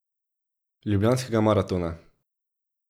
Ljubljanskega maratona.